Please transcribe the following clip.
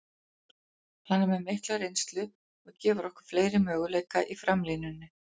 Hann er með mikla reynslu og gefur okkur fleiri möguleika í framlínunni.